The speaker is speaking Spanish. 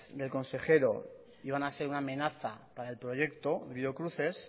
del consejero iban a ser una amenaza para el proyecto biocruces